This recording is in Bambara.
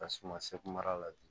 Ka suma sɛ mara la bi